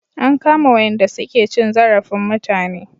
An kama wayanda su ke cin zarafin mutane